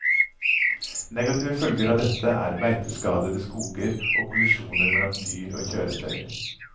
Negative følger av dette er beiteskadede skoger og kollisjoner mellom dyr og kjøretøyer.